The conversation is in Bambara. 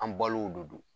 An balo de don